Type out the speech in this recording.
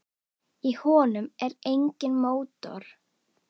Í honum er enginn mótor.